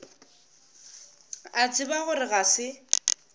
a tseba gore ga se